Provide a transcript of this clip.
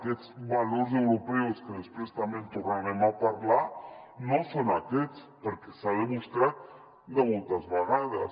aquests valors europeus que després també en tornarem a parlar no són aquests perquè s’ha demostrat moltes vegades